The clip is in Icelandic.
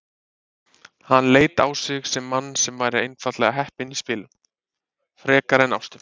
Hann leit á sig sem mann sem væri einfaldlega heppinn í spilum. frekar en ástum.